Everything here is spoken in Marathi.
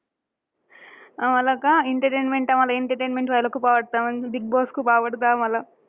आम्हांला का entertainment आम्हांला entertainment व्हायला खूप आवडतं. बिगबॉस खूप आवडतं आम्हांला.